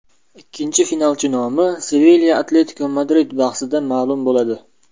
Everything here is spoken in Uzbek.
Ikkinchi finalchi nomi Sevilya- Atletiko Madrid bahsida ma’lum bo‘ladi.